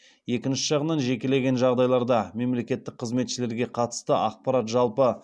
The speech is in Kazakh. екінші жағынан жекелеген жағдайларда мемлекеттік қызметшілерге қатысты ақпарат жалпы